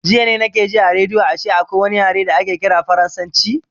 Jiya na ke ji a rediyo ashe akwai wani yare da ake ƙira farasanci